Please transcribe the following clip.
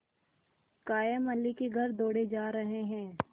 कायमअली के घर दौड़े जा रहे हैं